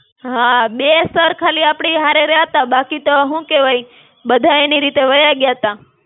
હાં, બે sir ખાલી આપડી હારે રહ્યાં તા, બાકી તો હું કેવાય, બધા એની રીતે વયા ગ્યા તા.